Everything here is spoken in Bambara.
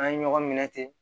An ye ɲɔgɔn minɛ ten